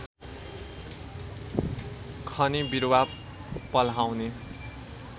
खनी बिरुवा पल्हाउने